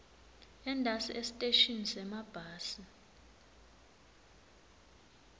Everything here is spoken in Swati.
entasi esiteshini semabhasi